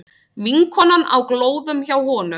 Vinkonan á glóðum hjá honum.